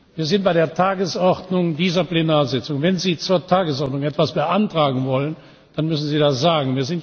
Wir sind bei der Tagesordnung dieser Plenarsitzung. Wenn Sie zur Tagesordnung etwas beantragen wollen, dann müssen Sie das sagen.